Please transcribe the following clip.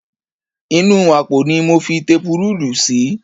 Inú àpò ni mo fi tepurúùlù sí